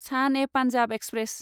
सान ए पान्जाब एक्सप्रेस